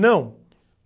Não.